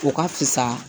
O ka fisa